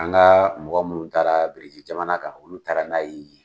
An ka mɔgɔ munnu taara berzri jamana kan olu taara n'a ye yen.